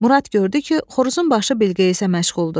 Murad gördü ki, xoruzun başı Bilqeyisə məşğuldur.